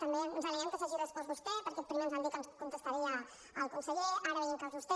també ens alegrem que ens s’hagi respost vostè perquè primer ens van dir que ens contestaria el conseller ara veiem que és vostè